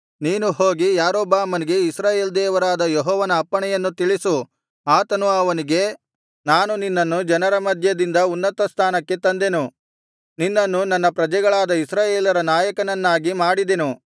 ನೀನು ಹೋಗಿ ಯಾರೊಬ್ಬಾಮನಿಗೆ ಇಸ್ರಾಯೇಲ್ ದೇವರಾದ ಯೆಹೋವನ ಅಪ್ಪಣೆಯನ್ನು ತಿಳಿಸು ಆತನು ಅವನಿಗೆ ನಾನು ನಿನ್ನನ್ನು ಜನರ ಮಧ್ಯದಿಂದ ಉನ್ನತಸ್ಥಾನಕ್ಕೆ ತಂದೆನು ನಿನ್ನನ್ನು ನನ್ನ ಪ್ರಜೆಗಳಾದ ಇಸ್ರಾಯೇಲರ ನಾಯಕನನ್ನಾಗಿ ಮಾಡಿದೆನು